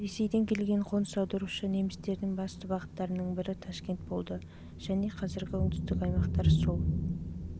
ресейден келген қоныс аударушы немістердің басты бағыттарының бірі ташкент болды және қазіргі оңтүстік аймақтар сол